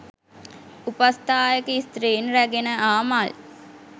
උපස්ථායක ස්ත්‍රීන් රැගෙන ආ මල්